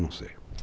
Não sei.